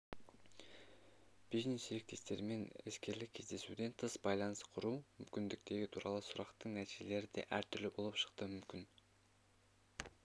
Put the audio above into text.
бизнес-серіктестермен іскерлік кездесуден тыс байланыс құру мүмкіндіктері туралы сұрақтың нәтижелері де әртүрлі болып шықты мүмкін